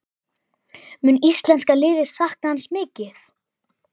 Mun íslenska liðið sakna hans mikið?